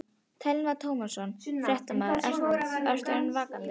Telma Tómasson, fréttamaður: Eru þeir ekkert vankaðir?